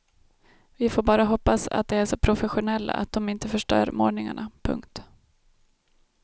Vi får bara hoppas att de är så professionella att de inte förstör målningarna. punkt